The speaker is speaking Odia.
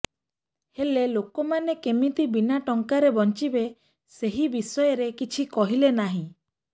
ହେଲେ ଲୋକମାନେ କେମିତି ବିନା ଟଙ୍କାରେ ବଞ୍ଚିବେ ସେହି ବିଷୟରେ କିଛି କହିଲେ ନାହିଁ